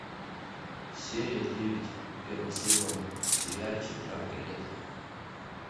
серия девять первый сезон сериальчик жаркое лето